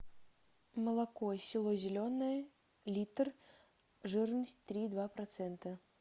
молоко село зеленое литр жирность три и два процента